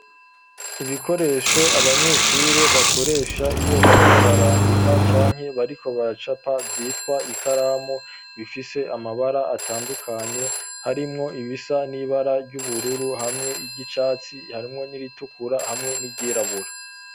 Ibikoresho abanyeshure bakoresha iyo bariko barandika canke bariko baracapa vyitwa ikaramu ,bifise amabara atandukanye harimwo ibisa n'ibara ry'ubururu hamwe n'iry'icatsi harimwo n'iritukura hamwe n'iryirabura.